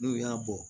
N'u y'a bɔ